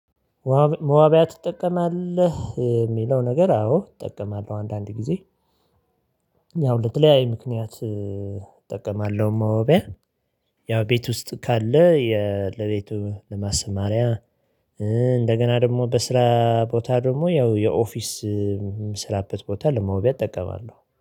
መዋቢያ ትጠቀማለህ የሚለው ነገር አዎ እጠቀማለሁ አንዳንድ ጊዜ ያው ለተለያዩ ምክንያት እጠቀማለሁ መዋቢያ። ያው ቤት ውስጥ ካለ የ ለቤቱ ለማሰማሪያ እንደገና ደግሞ በስራ ቦታ ደግሞ ያው የኦፊስ። የምራበት ቦታ ለመዋቢያ እጠቀማለሁ